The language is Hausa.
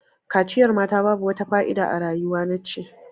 Kaciyar mata babu wata fa'ida a rayuwar nace.